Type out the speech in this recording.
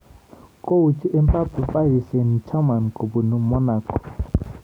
Kouchi Mbappe Paris St-Germain kobunu Monago